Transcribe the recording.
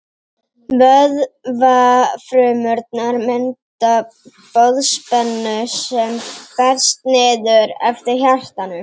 vöðvafrumurnar mynda boðspennu sem berst niður eftir hjartanu